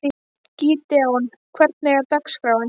Gídeon, hvernig er dagskráin?